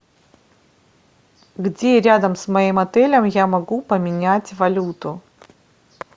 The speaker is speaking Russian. где рядом с моим отелем я могу поменять валюту